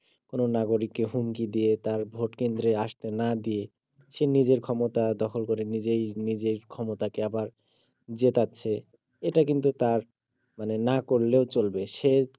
কোন নাগরিককে হুমকি দিয়ে তার ভোট কেন্দ্রে আস্তে না দিয়ে সে নিজের ক্ষমতা দখল করে নিজেই নিজের ক্ষমতাকে আবার জেতাচ্ছে এটা কিন্তু তার মানে না করলেও চলবে সে